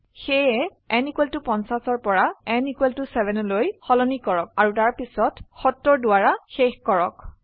সেয়ে n 50 পৰা n 7 লৈ সলনি কৰক আৰু তাৰ পিছত 70 দ্বাৰা শেষ কৰক